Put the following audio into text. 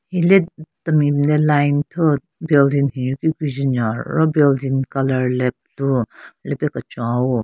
Hile temi le line thyu-o building nyuki güjhe nyon ro building colour le blue lepe kechon au-o.